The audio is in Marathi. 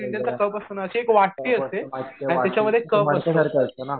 माहितीये वाटी ती मडक्यासारखी असते ना .